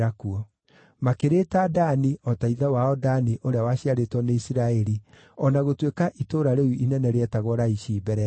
Makĩrĩĩta Dani o ta ithe wao Dani ũrĩa waciarĩtwo nĩ Isiraeli o na gũtuĩka itũũra rĩu inene rĩetagwo Laishi mbere ĩyo.